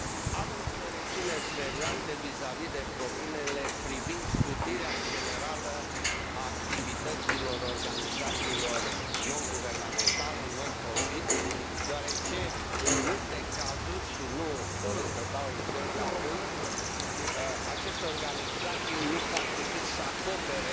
Am însă rețineri serioase vizavi de propunerile privind scutirea generală a activităților organizațiilor neguvernamentale non profit, deoarece, în multe cazuri, și nu doresc să dau exemple acum, aceste organizații nu fac decât să acopere